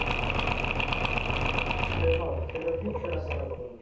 ହଁ ସେଇଟା କୁ ହିଁ ଛେରା ପହଁରା କୁହନ୍ତି